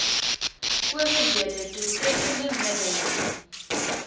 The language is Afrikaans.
owerhede doeltreffende middele